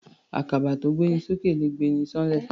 Àkàbà tó gbé ni s'ókè le gbé'ni ṣán'lẹ̀.